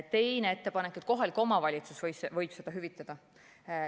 Teine ettepanek on, et kohalik omavalitsus võib seda hüvitada.